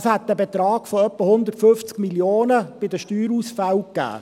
Dies hätte einen Betrag von ungefähr 150 Mio. Franken bei den Steuerausfällen ergeben.